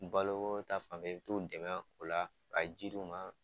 baloko ta fan fɛ i bi t'u dɛmɛ o la ka ji d'u ma